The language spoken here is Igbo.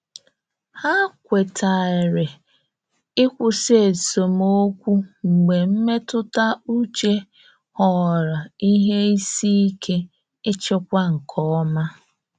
Ha kwetere ịkwụsị esemokwu mgbe mmetụta uche ghọrọ ihe isi ike ịchịkwa nke ọma.